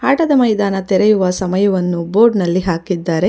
ಆಟದ ಮೈದಾನ ತೆರೆಯುವ ಸಮಯವನ್ನು ಬೋರ್ಡ್ ನಲ್ಲಿ ಹಾಕಿದ್ದಾರೆ.